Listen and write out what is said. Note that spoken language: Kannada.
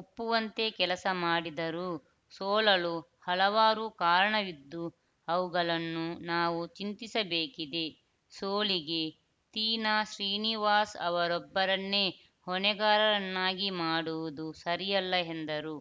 ಒಪ್ಪುವಂತೆ ಕೆಲಸ ಮಾಡಿದರೂ ಸೋಲಲು ಹಲವಾರು ಕಾರಣವಿದ್ದು ಅವುಗಳನ್ನು ನಾವು ಚಿಂತಿಸಬೇಕಿದೆ ಸೋಲಿಗೆ ತೀನಾಶ್ರೀನಿವಾಸ ಅವರೊಬ್ಬರನ್ನೇ ಹೊಣೆಗಾರರನ್ನಾಗಿ ಮಾಡುವುದು ಸರಿಯಲ್ಲ ಎಂದರು